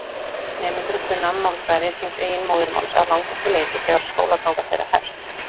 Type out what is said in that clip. Nemendur kunna málfræði síns eigin móðurmáls að langmestu leyti þegar skólaganga þeirra hefst.